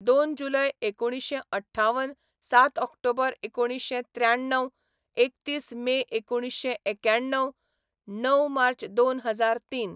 दोन जुलय एकुणिशें अठ्ठावन सात ऑक्टोबर एकुणिशें त्र्याण्णाव एकतीस मे एकुणिशें एक्याणव णव मार्च दोन हजार तीन